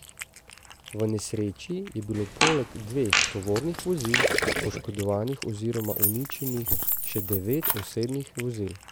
V nesreči je bilo poleg dveh tovornih vozil poškodovanih oziroma uničenih še devet osebnih vozil.